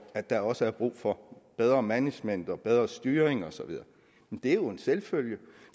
at der også er brug for bedre management og bedre styring og så videre det er jo en selvfølge